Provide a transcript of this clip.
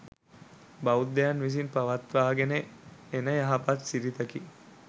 බෞද්ධයන් විසින් පවත්වාගෙන එන යහපත් සිරිතකි.